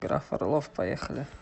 граф орлов поехали